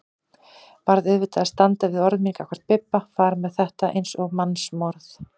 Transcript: Varð auðvitað að standa við orð mín gagnvart Bibba, fara með þetta eins og mannsmorð.